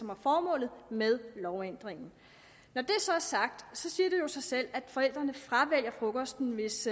var formålet med lovændringen når det så er sagt så siger det jo sig selv at forældrene fravælger frokosten hvis